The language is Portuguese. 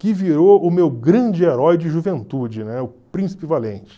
que virou o meu grande herói de juventude, o Príncipe Valente.